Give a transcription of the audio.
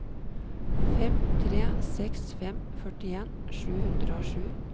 fem tre seks fem førtien sju hundre og sju